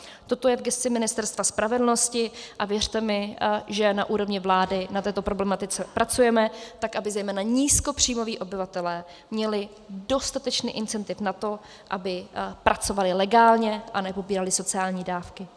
Toto je v gesci Ministerstva spravedlnosti a věřte mi, že na úrovni vlády na této problematice pracujeme, tak aby zejména nízkopříjmoví obyvatelé měli dostatečný incentiv na to, aby pracovali legálně a nepobírali sociální dávky.